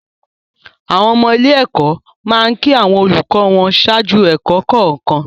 Àwọn ọmọ ilé-ẹ̀kọ́ máa ń kí àwọn olùkọ́ wọn ṣáájú ẹ̀kọ́ kọ̀ọ̀kan.